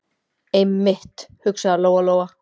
Einmitt, hugsaði Lóa- Lóa.